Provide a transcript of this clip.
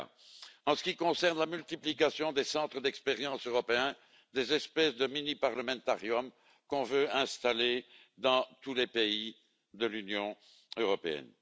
Maňka, en ce qui concerne la multiplication des centres d'expérience européens, des espèces de mini Parlamentariums qu'on veut installer dans tous les pays de l'Union européenne.